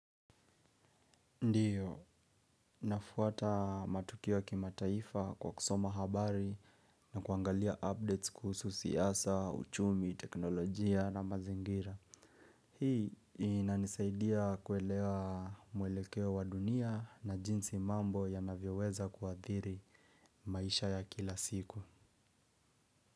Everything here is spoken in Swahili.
Ndiyo, nafuata matukio ya kimataifa kwa kusoma habari na kuangalia updates kuhusu siasa, uchumi, teknolojia na mazingira. Hii inanisaidia kuelewa mwelekeo wa dunia na jinsi mambo ya navyeweza kuadhiri maisha ya kila siku.